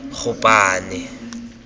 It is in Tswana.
gopane